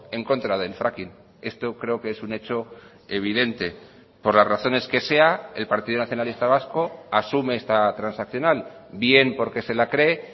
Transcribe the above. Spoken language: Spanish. en contra del fracking esto creo que es un hecho evidente por las razones que sea el partido nacionalista vasco asume esta transaccional bien porque se la cree